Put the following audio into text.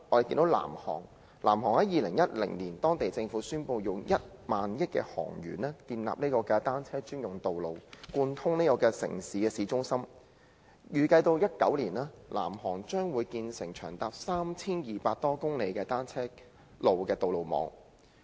在2010年，南韓政府宣布以1萬億韓圜建立單車專用道路，貫通城市市中心，預計到2019年，南韓將會建成長達 3,200 多公里的單車路的道路網。